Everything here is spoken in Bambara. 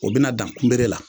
O bina dan kunbere la.